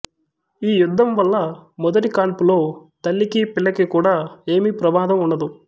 ఈ యుద్ధం వల్ల మొదటి కాన్పులో తల్లికి పిల్లకి కూడా ఏమీ ప్రమాదం ఉండదు